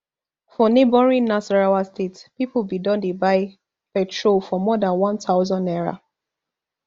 for neighbouring nasarawa state pipo bin don dey buy petrol for more dan one thousand naira